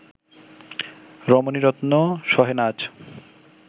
রমণীরত্ন সহে না আঁচ